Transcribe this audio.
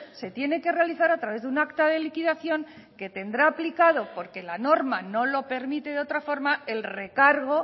se tiene que realizar a través de un acta de liquidación que tendrá aplicado porque la norma no lo permite de otra forma el recargo